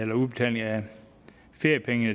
med udbetaling af feriepenge i